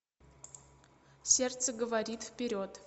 сердце говорит вперед